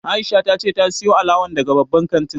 Aisha ta ce ta sayo alawan daga babban kantin